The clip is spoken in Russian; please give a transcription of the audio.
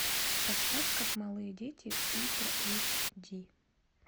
поставь как малые дети ультра эйч ди